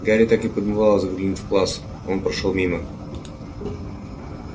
гарри так и подмывало заглянуть в класс он прошёл мимо